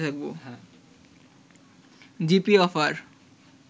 GP offer